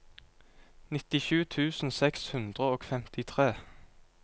nittisju tusen seks hundre og femtitre